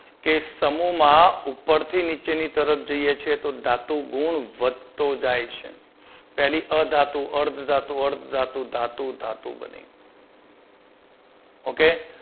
કે સમુહમાં ઉપરથી નીચેની તરફ જઈએ છીએ તો ધાતુ ગુણ વધતો જાય છે. પહેલી અધાતુ, અર્ધધાતુ, અર્ધધાતુ ધાતુ ધાતુ બને okay